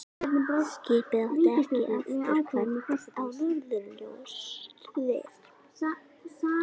Skipið átti ekki afturkvæmt á norðurslóðir.